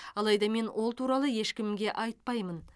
алайда мен ол туралы ешкімге айтпаймын